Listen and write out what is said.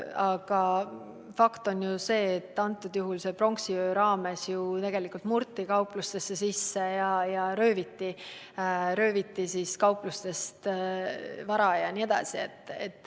Aga fakt on see, et pronksiöö raames murti ju tegelikult kauplustesse sisse ja sealt rööviti vara.